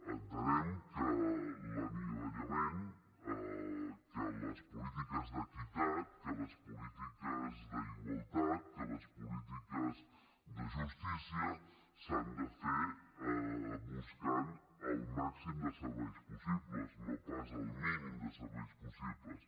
entenem que l’anivellament que les polítiques d’equitat que les polítiques d’igualtat que les polítiques de justícia s’han de fer buscant el màxim de serveis possibles no pas el mínim de serveis possibles